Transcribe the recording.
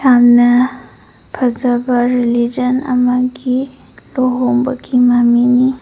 ꯌꯥꯝꯅ ꯐꯖꯕ ꯔꯤꯂꯤꯖꯟ ꯑꯃꯒꯤ ꯂꯨꯍꯣꯡꯕꯒꯤ ꯃꯃꯤꯅꯤ꯫